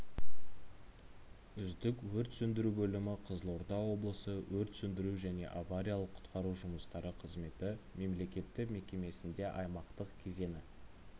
үздік өрт сөндіру бөлімі қызылорда облысы өрт сөндіру және авариялық-құтқару жұмыстары қызметі мемлекеттік мекемесінде аймақтық кезеңі